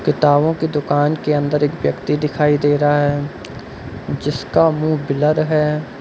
किताबों की दुकान के अंदर एक व्यक्ति दिखाई दे रहा है जिसका मुंह ब्लर है।